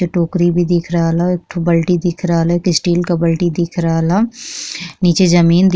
ई टोकरी भी दिख रहल हअएक ठो बल्टी भी दिख रहल हअ। एक ठे स्टील के बल्टी भी दिख रहल हअ। नीचे जमीन --